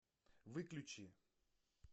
выключи